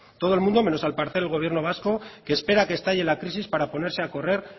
todo el mundo menos al parecer el gobierno vasco que espera que estalle la crisis para ponerse a correr